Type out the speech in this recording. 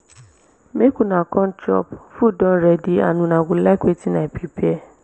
make una come chop food don ready and una go like wetin i prepare